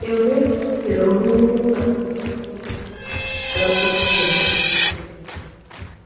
тем временем пирогу отнесло вниз э по течению